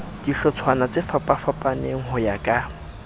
dihlotshwana tsefapafapaneng ho ya ka